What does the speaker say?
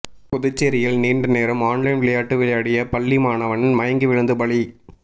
புதுச்சேரில் நீண்ட நேரம் ஆன்லைன் விளையாட்டு விளையாடிய பள்ளி மாணவன் மயங்கி விழுந்து பலி